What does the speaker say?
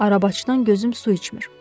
Arabaçıdan gözüm su içmir.